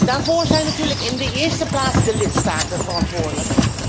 Daarvoor zijn natuurlijk in de eerste plaats de lidstaten verantwoordelijk.